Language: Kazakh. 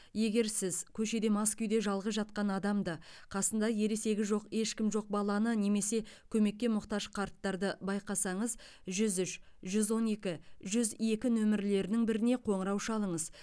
егер сіз көшеде мас күйде жалғыз жатқан адамды қасында ересегі жоқ ешкім жоқ баланы немесе көмекке мұқтаж қарттарды байқасаңыз жүз үш жүз он екі жүз екі нөмірлерінің біріне қоңырау шалыңыз